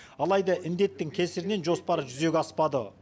алайда індеттің кесірінен жоспары жүзеге аспады